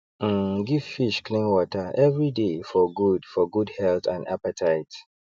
um give fish clean water every day for good for good health and appetite